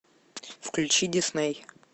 включи дисней